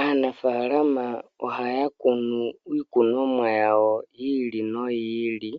Aanafalama ohaya kunu iikunomwa yawo yi ili noyi ili